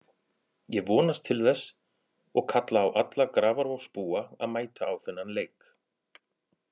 Ég vonast til þess og kalla á alla Grafarvogsbúa að mæta á þennan leik.